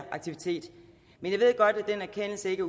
aktivitet men jeg ved godt at den erkendelse ikke